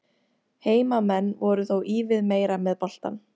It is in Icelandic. Heimamenn voru þó ívið meira með boltann.